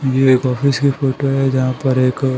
ये एक ऑफिस की फोटो है जहां पर एक---